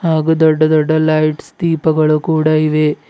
ಹಾಗು ದೊಡ್ಡ ದೊಡ್ಡ ಲೈಟ್ಸ್ ದೀಪಗಳು ಕೂಡ ಇವೆ.